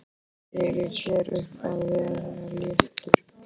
Gerir sér upp að vera léttur.